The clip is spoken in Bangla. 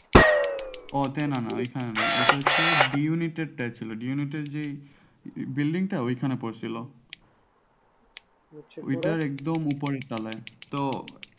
ওতে না না ঐখানে না ওইটা হচ্ছে D unit এর টা ছিল D unit এর যে building টা ওইখানে পড়ছিল ওইটার একদম উপরের তলায় তো